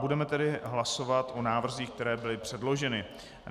Budeme tedy hlasovat o návrzích, které byly předloženy.